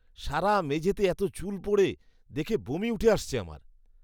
সারা মেঝেতে এতো চুল পড়ে। দেখে বমি উঠে আসছে আমার।